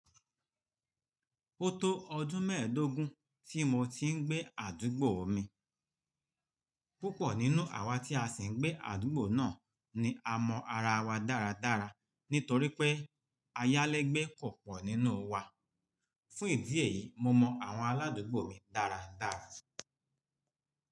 Ó tó ọdún mẹ́ẹ̀dógún tí mo ti ń gbé àdúgbò mi. Púpọ̀ nínú àwa tí a sì ń gbé àdúgbò náà ni a mọ ara wa dáradára nítorí pé ayálégbé ko pọ̀ nínú wa. Fún ìdí èyí, mo mọ àwọn aládùúgbò mi dáradára.